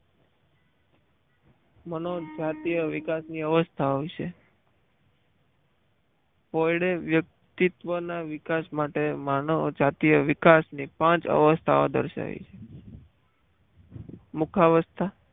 મનોજાતિય વિકાસની અવસ્થા હોય છે કોયડે વ્યક્તિત્વના વિકાસ માટે માનવ જાતિય વિકાસની પાંચ અવસ્થાઓ દર્શાવી છે મુખ અવસ્થા